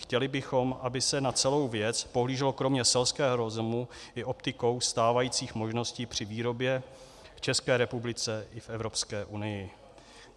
Chtěli bychom, aby se na celou věc pohlíželo kromě selského rozumu i optikou stávajících možností při výrobě v České republice i v Evropské unii.